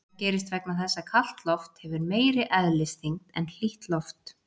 Það gerist vegna þess að kalt loft hefur meiri eðlisþyngd en hlýtt loft.